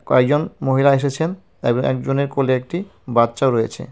কয়েকজন মহিলা এসেছেন এবর এবং একজনের কোলে একটি বাচ্চাও রয়েছে.